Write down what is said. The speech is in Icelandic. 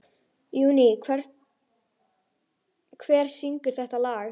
Júní, hver syngur þetta lag?